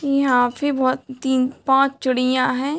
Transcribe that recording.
यहाँ भी बहोत तीन - पाँच चूड़ियाँ हैं।